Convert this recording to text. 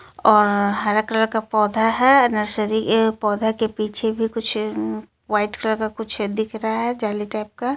और हरा कलर का पौधा हे नर्सिंरी ए पौधे के पीछे भी कुछ वाइट कलर का कुछ दिख रहा हे जेली टाइप का.